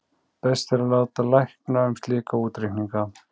best er að láta lækna um slíka útreikninga